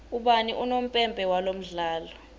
ubani unompempe walomdlalo